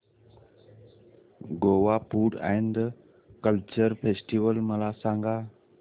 Goa food and culture festival मला सांगा